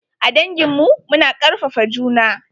A dangin mu. Mu na karfafa juna.